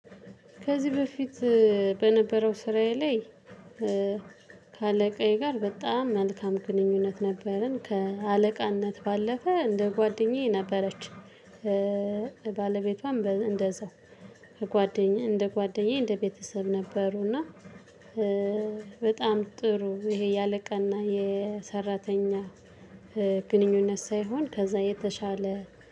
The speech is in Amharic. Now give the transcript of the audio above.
ከዚህ በፊት በነበረው ስራዬ ላይ ከአለቃዬ ጋር በጣም መልካም ግንኙነት ነበረን ከአለቃነት ባለፈ እንደ ጓደኛዬ ነበረች። ባለቤቷን እንደዛው ከጓደኛ እንደ ጓደኛዬ እንደ ቤተሰብ ነበሩና። በጣም ጥሩ ይሄ የአለቃና የሰራተኛ ግንኙነት ሳይሆን ከዛ የተሻለ